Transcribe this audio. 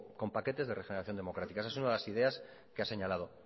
con paquetes de regeneración democrática esa es una de las ideas que ha señalado